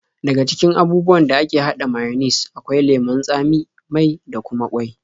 Daga cikin abubuwan da ake haɗa mayones akwai lemon tsami, mai da kuma ƙwai.